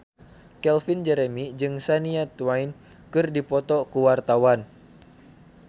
Calvin Jeremy jeung Shania Twain keur dipoto ku wartawan